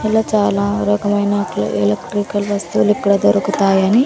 అలా చాలా రకమైన ఎ ఎలక్ట్రికల్ వస్తువులు ఇక్కడ దొరుకుతాయని--